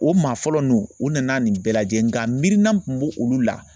O maa fɔlɔ nu u nana nin bɛɛ lajɛ nka miirina min kun b'o olu la